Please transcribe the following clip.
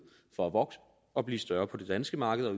for at vokse og blive større på det danske marked og